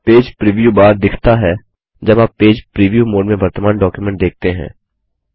page preview bar दिखता है जब आप पेज प्रिव्यू मोड में वर्तमान डॉक्युमेंट देखते हैं